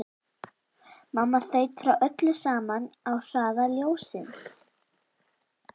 Mamma þaut frá öllu saman á hraða ljóssins.